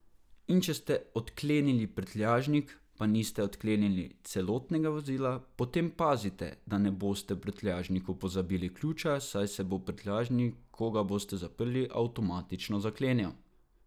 In, če ste odklenili prtljažnik, pa niste odklenili celotnega vozila, potem pazite, da ne boste v prtljažniku pozabili ključa, saj se bo prtljažnik, ko ga boste zaprli, avtomatično zaklenil.